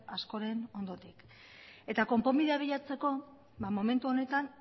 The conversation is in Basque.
askoren ondotik eta konponbidea biltzeko momentu honetan